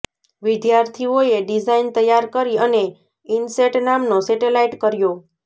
વિદ્યાર્થીઓએ ડિઝાઇન તૈયાર કરી અને ઇનસેટ નામનો સેટેલાઇટ કર્યો